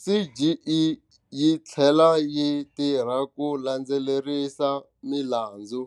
CGE yi tlhela yi tirha ku landzelerisa milandzu,